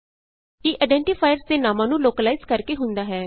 ਇਹ ਆਈਡੈਂਟੀਫਾਇਰਸ ਦੇ ਨਾਮਾਂ ਨੂੰ ਲੋਕਲਾਈਜ਼ ਕਰ ਕੇ ਹੁੰਦਾ ਹੈ